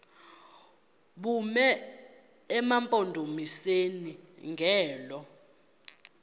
bume emampondomiseni ngelo